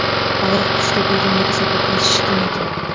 Og‘riq kuchli bo‘lganligi sababli shishgan ekan.